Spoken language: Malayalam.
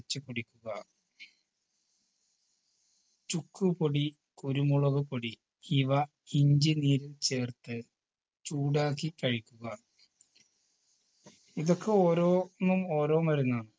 വെച്ച് കുടിക്കുക ചുക്കുപൊടി കുരുമുളക്പൊടി ഇവ ഇഞ്ചി നീര് ചേർത്ത് ചൂടാക്കി കഴിക്കുക ഇതൊക്കെ ഓരോന്നും ഓരോ മരുന്നാണ്